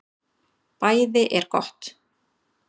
BÆÐI ER GOTT